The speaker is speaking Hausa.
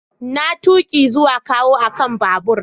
Na tuki zuwa kawo akan babur.